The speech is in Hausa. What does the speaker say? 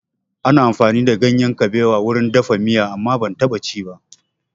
Ana amfani da ganyen kaɓewa wurin dafa miya amma ban taɓa ci ba